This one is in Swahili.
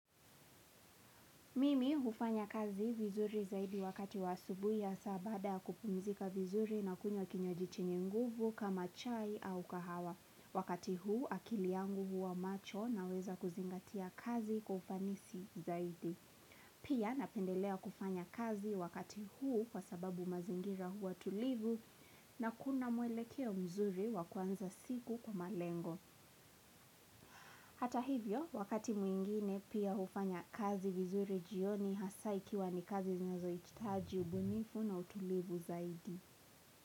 Mimi hufanya kazi vizuri zaidi wakati wa asubuhi ya saa baada ya kupumzika vizuri na kunywa kinywaji chenye nguvu kama chai au kahawa. Wakati huu akili yangu huwa macho naweza kuzingatia kazi kwa ufanisi zaidi. Pia napendelea kufanya kazi wakati huu kwa sababu mazingira huwa tulivu na kuna mwelekeo mzuri wakuanza siku kwa malengo. Hata hivyo, wakati mwingine pia hufanya kazi vizuri jioni hasaa ikiwa ni kazi zinazo hitaji ubunifu na utulivu zaidi.